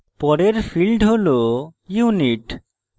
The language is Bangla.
পরের field হল unit